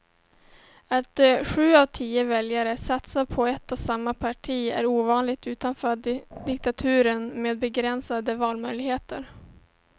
Att sju av tio väljare satsar på ett och samma parti är ovanligt utanför diktaturer med begränsade valmöjligheter.